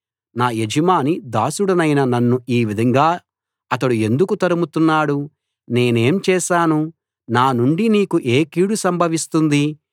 నా యజమాని దాసుడనైన నన్ను ఈ విధంగా అతడు ఎందుకు తరుముతున్నాడు నేనేం చేశాను నా నుండి నీకు ఏ కీడు సంభవిస్తుంది